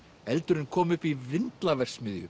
eldurinn kom upp í